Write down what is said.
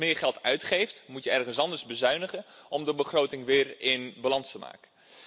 Als je ergens meer geld uitgeeft, moet je ergens anders bezuinigen om de begroting weer in balans te brengen.